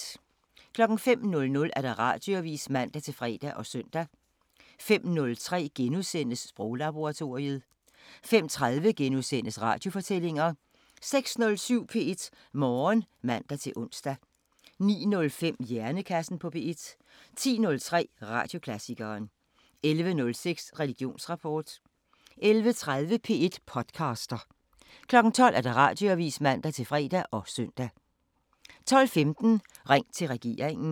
05:00: Radioavisen (man-fre og søn) 05:03: Sproglaboratoriet * 05:30: Radiofortællinger * 06:07: P1 Morgen (man-ons) 09:05: Hjernekassen på P1 10:03: Radioklassikeren 11:06: Religionsrapport 11:30: P1 podcaster 12:00: Radioavisen (man-fre og søn) 12:15: Ring til regeringen